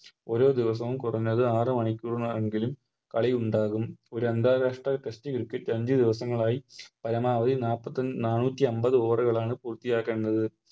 ഓരോ ദിവസവും കുറഞ്ഞത് ആറ് മണിക്കൂർ എങ്കിലും കളിയുണ്ടാകും ഒര് അന്താരാഷ്ട്ര Test cricket അഞ്ച് ദിവസങ്ങളായി പരമാവധി നാപ്പത്തി നാനൂറ്റി അമ്പത് Over കളാണ് പൂർത്തിയാക്കാൻ കഴിയുക